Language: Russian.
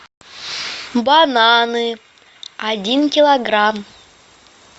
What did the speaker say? бананы один килограмм